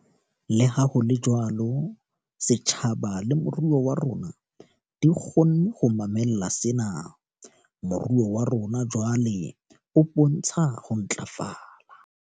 Leha ho le jwalo, setjhaba le moruo wa rona di kgonne ho mamella sena. Moruo wa rona jwale o bontsha ho ntlafala.